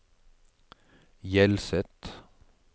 Hjelset